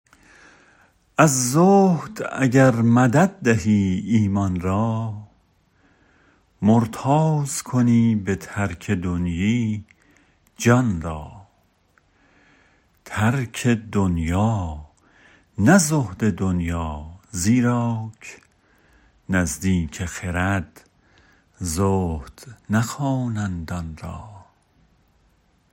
از زهد اگر مدد دهی ایمان را مرتاض کنی به ترک دنیی جان را ترک دنیا نه زهد دنیا زیراک نزدیک خرد زهد نخوانند آن را